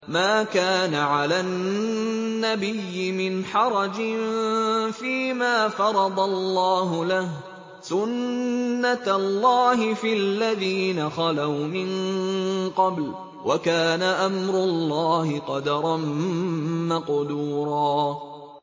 مَّا كَانَ عَلَى النَّبِيِّ مِنْ حَرَجٍ فِيمَا فَرَضَ اللَّهُ لَهُ ۖ سُنَّةَ اللَّهِ فِي الَّذِينَ خَلَوْا مِن قَبْلُ ۚ وَكَانَ أَمْرُ اللَّهِ قَدَرًا مَّقْدُورًا